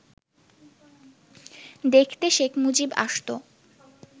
দেখতে শেখ মুজিব আসত